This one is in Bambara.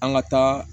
An ka taa